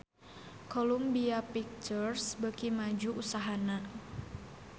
Columbia Pictures beuki maju usahana